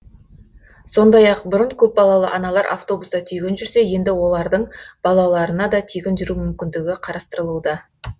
сондай ақ бұрын көпбалалы аналар автобуста тегін жүрсе енді олардың балаларына да тегін жүру мүмкіндігі қарастырылуда